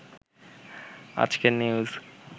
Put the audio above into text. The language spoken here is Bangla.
আজকের নিউজ